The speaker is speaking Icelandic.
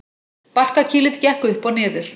Barkakýlið gekk upp og niður.